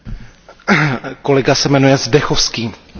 Pane kolego Mayere, já mám na Vás otázku.